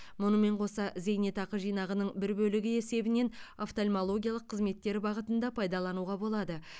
мұнымен қоса зейнетақы жинағының бір бөлігі есебінен офтальмологиялық қызметтер бағытында пайдалануға болады